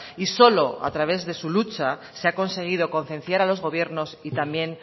y solo a través de su lucha se ha conseguido concienciar a los gobiernos y también